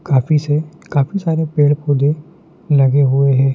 काफीसे काफी सारे पेड़ पौधे लगे हुए हैं।